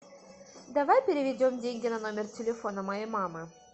давай переведем деньги на номер телефона моей мамы